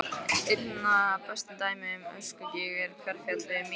Einna best dæmi um öskugíg er Hverfjall við Mývatn.